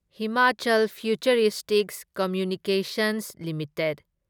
Himachal Futuristics Communications limited